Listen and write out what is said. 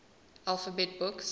alphabet books